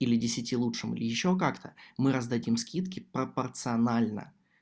или десяти лучших ещё как-то мы раздаём скидки пропорционально